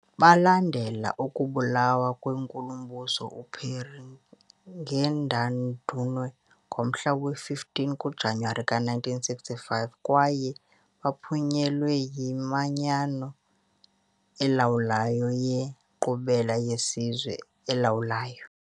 Balandela ukubulawa kweNkulumbuso uPierre Ngendandumwe ngomhla we-15 kuJanuwari ka-1965, kwaye baphunyelelwa yiManyano elawulayo yeNkqubela yeSizwe. elawulayo.